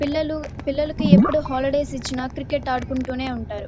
పిల్లలు పిల్లలకి ఎప్పుడు హాలిడేస్ ఇచ్చిన క్రికెట్ ఆడుకుంటూనే ఉంటారు.